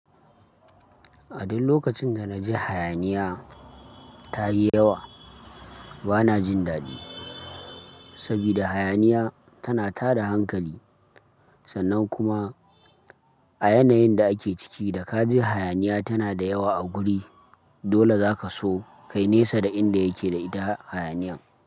A duk lokacin da na ji hayaniya ta yi yawa, bana jin dadi. Saboda hayaniya tana tada hankali, sannan kuma a yanayin da ake ciki da ka ji hayaniya tana da yawa a guri, dole zaka so ka nesa da inda yake da ita hayaniyan.